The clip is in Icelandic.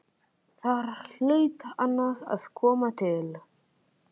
Þar hlaut annað að koma til.